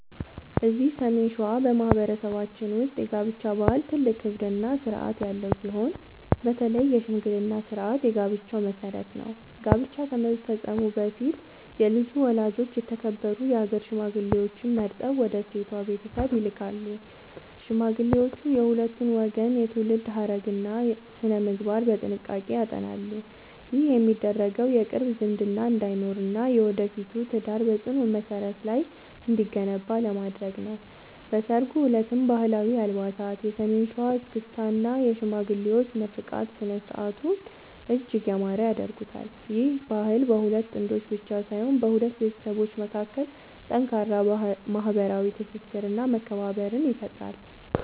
እዚህ ሰሜን ሸዋ በማኅበረሰባችን ውስጥ የጋብቻ ባህል ትልቅ ክብርና ሥርዓት ያለው ሲሆን፣ በተለይ የሽምግልና ሥርዓት የጋብቻው መሠረት ነው። ጋብቻ ከመፈጸሙ በፊት የልጁ ወላጆች የተከበሩ የአገር ሽማግሌዎችን መርጠው ወደ ሴቷ ቤተሰብ ይልካሉ። ሽማግሌዎቹ የሁለቱን ወገን የትውልድ ሐረግና ሥነ-ምግባር በጥንቃቄ ያጠናሉ። ይህ የሚደረገው የቅርብ ዝምድና እንዳይኖርና የወደፊቱ ትዳር በጽኑ መሠረት ላይ እንዲገነባ ለማድረግ ነው። በሠርጉ ዕለትም ባህላዊ አልባሳት፣ የሰሜን ሸዋ እስክስታ እና የሽማግሌዎች ምርቃት ሥነ-ሥርዓቱን እጅግ ያማረ ያደርጉታል። ይህ ባህል በሁለት ጥንዶች ብቻ ሳይሆን በሁለት ቤተሰቦች መካከል ጠንካራ ማኅበራዊ ትስስርና መከባበርን ይፈጥራል።